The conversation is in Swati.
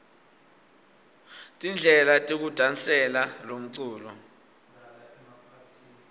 tindlela tekudasela lomculo